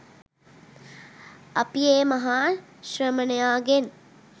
අපි ඒ මහා ශ්‍රමණයාගෙන්